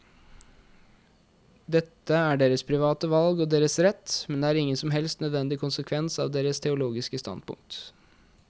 Dette er deres private valg og deres rett, men det er ingen som helst nødvendig konsekvens av deres teologiske standpunkt.